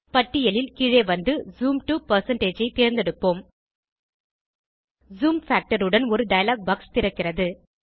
பட்டியலில் கீழே வந்து ஜூம் to ஐ தேர்ந்தெடுப்போம் ஜூம் பாக்டர் உடன் ஒரு டயலாக் பாக்ஸ் திறக்கிறது